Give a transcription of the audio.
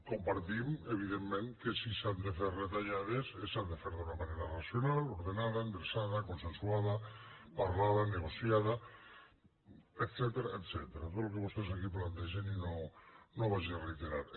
compartim evidentment que si s’han de fer retallades s’han de fer d’una manera racional ordenada endreçada consensuada parlada negociada etcètera tot el que vostès aquí plantegen i no ho reiteraré